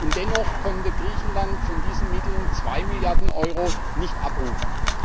Und dennoch konnte Griechenland von diesen Mitteln zwei Milliarden Euro nicht abrufen.